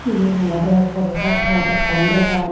Eben olode podo pajarat ekkan dogan.